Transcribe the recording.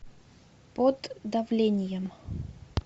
под давлением